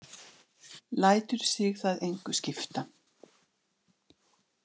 Lætur sig það engu skipta.